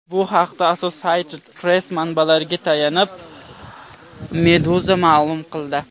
Bu haqda Associated Press manbalariga tayanib, Meduza ma’lum qildi .